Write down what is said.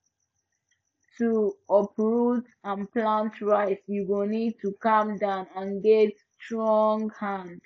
to uproot and plant rice you go need to calm down and get strong hand